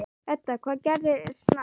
Edda: Hvað gerist næst?